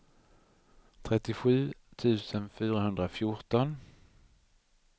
trettiosju tusen fyrahundrafjorton